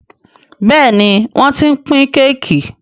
Béèni wón t'in pin Kéèkì.